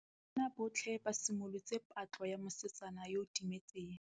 Banna botlhê ba simolotse patlô ya mosetsana yo o timetseng.